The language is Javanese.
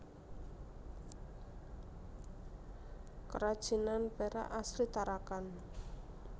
Kerajinan perak asli Tarakan